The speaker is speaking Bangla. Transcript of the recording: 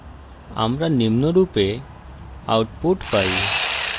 আমরা নিম্নরূপে output পাই: